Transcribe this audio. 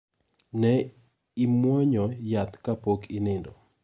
Ne imwonyo yath ka pok inindo.